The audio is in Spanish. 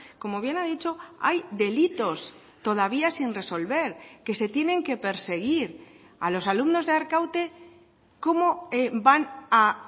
como bien ha dicho hay delitos todavía sin resolver que se tienen que perseguir a los alumnos de arkaute cómo van a